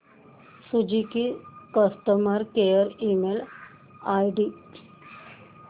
Suzuki customer care email ID